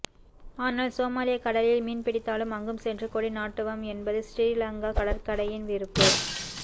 ஆனால் சோமாலிய கடலில் மீன்பிடித்தாலும் அங்கும் சென்று கொடி நாட்டுவம் என்பது சிறிலங்கா கடற்கடையின் விருப்பு